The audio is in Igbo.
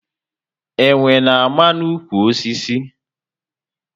Enwe na ama na ụkwụ osisi